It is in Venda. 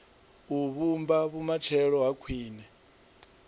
u vhumba vhumatshelo ha khwine